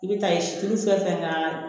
I bɛ taa ye si fɛn fɛn